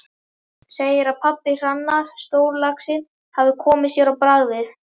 Segir að pabbi Hrannar, stórlaxinn, hafi komið sér á bragðið.